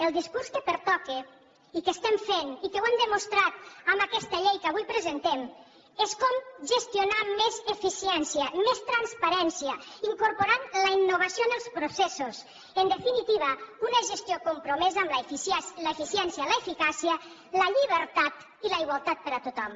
el discurs que pertoca i que estem fent i que ho hem demostrat amb aquesta llei que avui presentem és com gestionar amb més eficiència més transparència incorporant la innovació en els processos en definitiva una gestió compromesa amb l’eficiència l’eficàcia la llibertat i la igualtat per a tothom